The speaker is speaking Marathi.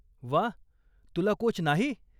वा, तुला कोच नाही?